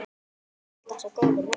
Alltaf svo góður við Möggu.